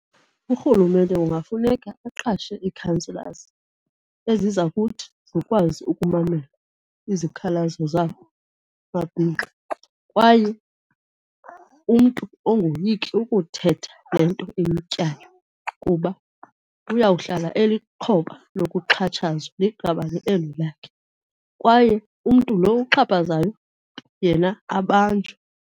Urhulumente kungafuneka aqashe ii-councilors eziza kuthi zikwazi ukumamela izikhalazo zamabhinqa kwaye umntu angoyiki ukuthetha le nto imtyayo, kuba uyawuhlala elixhoba lokuxhatshazwa liqabani eli lakhe. Kwaye umntu lo uxhaphazayo yena abanjwe.